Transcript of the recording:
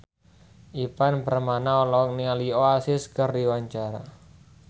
Ivan Permana olohok ningali Oasis keur diwawancara